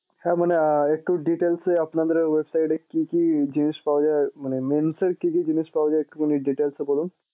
হ্যাঁ মানে একটু details এ আপনাদের website এ কি কি জিনিস পাওয়া যায় মানে men এর কি কি জিনিস পাওয়া যায় একটুখানি details এ বলুন।